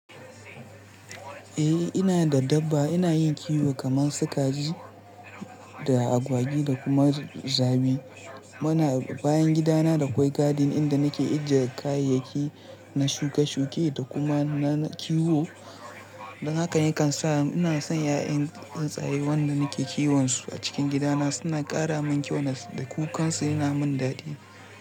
Eh ina da dabba. Ina yin kiwo kamar sukaji da agwagi da kuma zabi. Muna, bayan gidana da akwai garden inda nake ajiye kayayyaki na shuke-shuke da kuma na kiwo. Don haka yakan sa ina son 'ya'yan tsaye wanda nake kiwon su a cikin gidana. Suna ƙara min kyau da kukansu yana min daɗi.